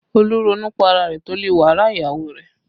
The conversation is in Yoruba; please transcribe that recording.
Olú ronú pá ara rẹ̀ torí wàhálà ìyàwó rẹ̀